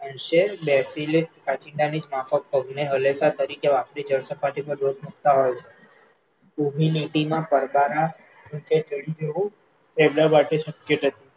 કાંચિડાની જ માફક પગને હલેલા તરીકે વાપરી જળસપાટી પર દોટ મુકતા હોય છે, ઉભી લીટીમાં પડકારા